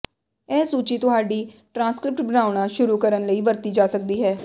ਇਹ ਸੂਚੀ ਤੁਹਾਡੀ ਟ੍ਰਾਂਸਕ੍ਰਿਪਟ ਬਣਾਉਣਾ ਸ਼ੁਰੂ ਕਰਨ ਲਈ ਵਰਤੀ ਜਾ ਸਕਦੀ ਹੈ